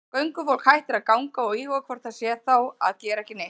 Göngufólk hættir að ganga og íhugar hvort það sé þá að gera ekki neitt.